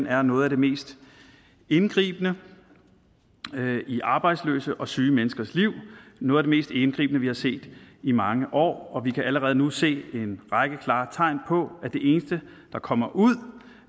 er noget af det mest indgribende i arbejdsløse og syge menneskers liv noget af det mest indgribende vi har set i mange år vi kan allerede nu se en række klare tegn på at det eneste der kommer ud